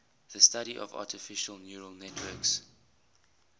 the study of artificial neural networks